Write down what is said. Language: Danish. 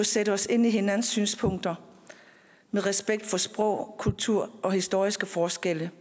sætte os ind i hinandens synspunkter med respekt for sprog kultur og historiske forskelle